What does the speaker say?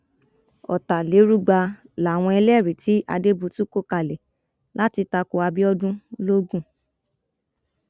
ọtàlérúgba làwọn ẹlẹrìí tí adébútù kọ kalẹ láti ta ko abiodun logun